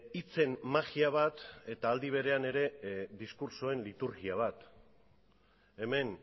hitzen magia bat eta aldi berean ere diskurtsoen liturgia bat hemen